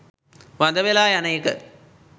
වඳ වෙලා යන එක